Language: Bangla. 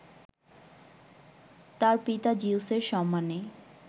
তার পিতা জিউসের সম্মানে